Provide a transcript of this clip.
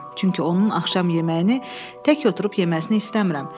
Çünki onun axşam yeməyini tək oturub yeməsini istəmirəm.